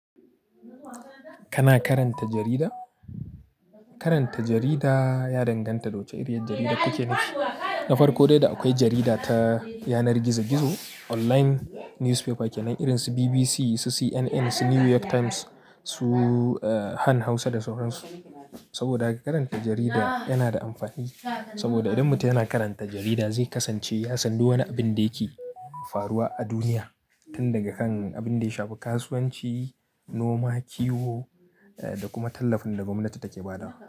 Kana karanta jarida? Karanta jarida ya danganta da wace iriyar jarida kake nufi. Na farko dai, da akwai jarida ta yanar gizo-gizo, online newspaper kenan, irin su BBC, su CNN, su New York Times, su, uh, Han Hausa da sauran su. Saboda haka karanta jarida yana da amfani saboda idan mutum yana karanta jarida, zai kasance ya san duk wani abin da yake faruwa a duniya, tun daga kan abin da ya shafi kasuwanci, noma, kiwo, eh, da kuma tallafin da gwamnati take ba da wa.